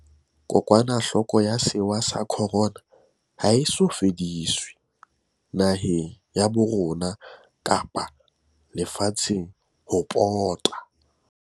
Kokwanahloko ya sewa sa Corona ha e so fediswe, naheng ya bo rona kapa le fatsheng ho pota.